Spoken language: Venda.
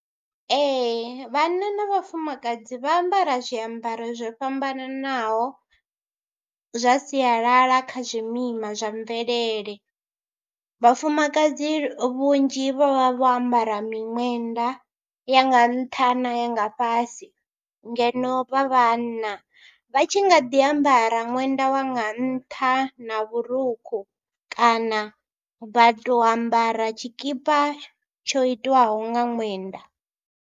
Ee vhanna na vhafumakadzi vha ambara zwiambaro zwo fhambananaho zwa sialala kha zwimima zwa mvelele. Vhafumakadzi vhunzhi vha vha vho ambara miṅwenda ya nga ntha na ya nga fhasi ngeno vha vhanna vha tshi nga ḓi ambara ṅwenda wa nga ntha na vhurukhu kana vha tou ambara tshikipa tsho itwaho nga ṅwenda.